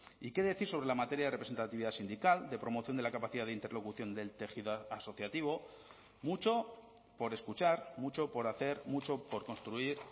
y qué decir sobre la materia de representatividad sindical de promoción de la capacidad de interlocución del tejido asociativo mucho por escuchar mucho por hacer mucho por construir